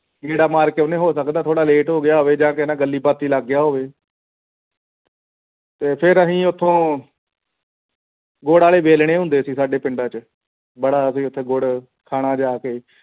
ਗੇੜਾ ਮਾਰ ਕੇ ਆਉਂਨੇ ਆਂ ਹੋ ਸਕਦਾ ਹੈ ਥੋੜਾ late ਹੋ ਗਿਆ ਹੋਵੇ ਜਾਂ ਕਿਸੇ ਨਾਲ ਗੱਲੀਂ ਬਾਤੀਂ ਲੱਗਿਆ ਹੋਵੇ ਤੇ ਫਿਰ ਅਸੀਂ ਓਥੋਂ ਗੁੜ ਵਾਲੇ ਵਲਾਣੇ ਹੁੰਦੇ ਸੀ ਸਾਡੇ ਪਿੰਡਾਂ ਚ ਬੜਾ ਅਸੀਂ ਓਥੇ ਗੁੜ ਖਾਣਾ ਜਾ ਕੇ ਉੱਥੇ